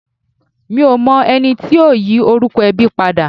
Mi ò mọ ẹni tí ó yí orúkọ ẹbí padà.